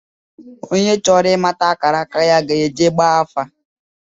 Onye chọrọ ị̣mata akara aka ya ga-ejee gbaa afa